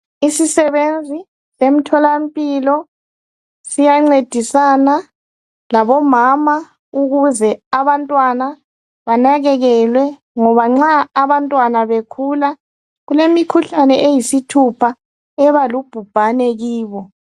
Isisebenzi emtholampilo siyancedisana labomama ukuze abantwana banakekelwe ngoba nxa abantwana bekhula kulemikhuhlane eyisithupha ebalubhubhane kibo